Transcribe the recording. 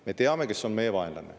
Me teame, kes on meie vaenlane.